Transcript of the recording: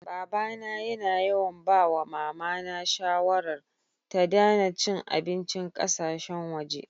Baba na yana yawan ba wa mama na shawarar, ta Dana cin abincin kasasheyn waje.